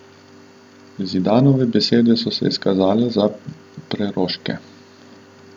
Zidanove besede so se izkazale za preroške.